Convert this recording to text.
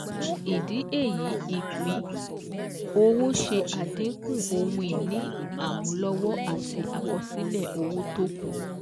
Fún ìdí èyí Ìpín-owó ṣe àdínkù ohun ìní àmúlọ́wọ́ àti àkọsílẹ̀ owó t'ókù